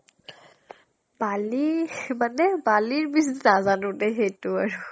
বালি মানে বালিৰ বিচ নাজানো দেই সেইটো আৰু।